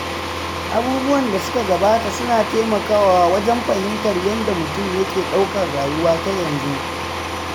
Abubuwan da suka gabata suna taimakawa wajen fahimtar yadda mutum yake ɗaukar rayuwa ta yanzu.